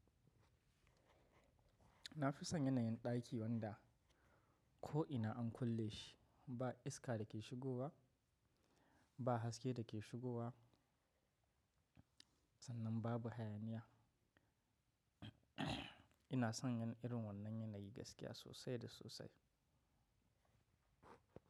Na fi son yanayin ɗaki wanda ko'ina an kulle shi, ba iska da ke shigowa, ba haske da ke shigowa sannan babu hayaniya. Ina son ganin irin wannan yanayi gaskiya sosai da sosai.